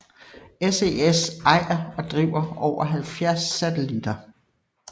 SES ejer og driver over 70 satellitter